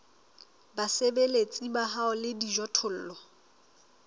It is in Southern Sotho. basebeletsi ba hao le dijothollo